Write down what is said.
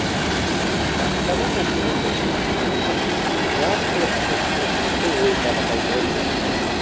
баспана мәселесі шешілгенімен жас оқытушының жұмысы ойдағыдай болмапты